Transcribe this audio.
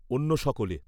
অন্য সকলে।